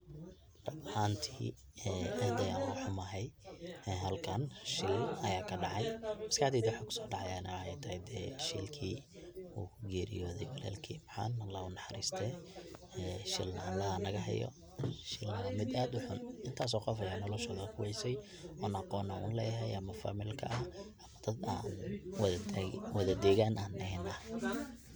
Ruun ahanti aad ayan ogaxumahay ee halkan shil aya kadacay, maskaxdeyda waxa kusodacayana wexey tahay dee shilki uu kugeriyode walalkey macan Allah haunaxariste ee shil Allah hanagahayo, shil wa mid aad uxun intas oo qof aya naftoda kuweysey oon aqon uleyahay ama familka ah ama dad an wada degaan an ahay.